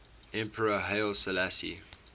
emperor haile selassie